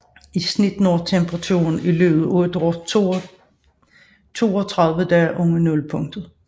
I snit når temperaturen i løbet af et år 32 dage under nulpunktet